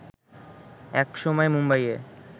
একসময় মুম্বাইয়ে